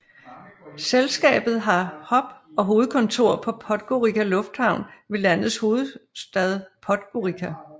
Selskabet har hub og hovedkontor på Podgorica Lufthavn ved landets hovedstad Podgorica